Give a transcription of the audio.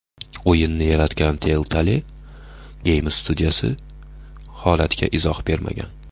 O‘yinni yaratgan Telltale Games studiyasi holatga izoh bermagan.